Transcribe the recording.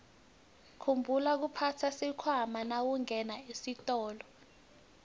khumbula kuphatsa sikhwama nawungena esitolo